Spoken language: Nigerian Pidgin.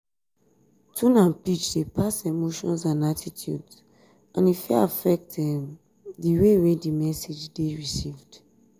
tone and pitch dey pass emotions and attitudes and e fit affect di um way di message dey received.